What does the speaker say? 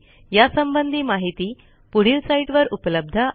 यासंबंधी माहिती पुढील साईटवर उपलब्ध आहे